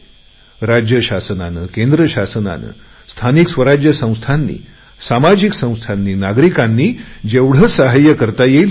राज्य शासनाने केंद्र शासनाने स्थानिक स्वराज्य संस्थांनी सामाजिक संस्थांनी नागरिकांनी जेवढे सहाय्य करता येईल तेवढे केले